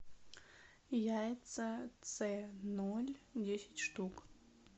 яйца цэ ноль десять штук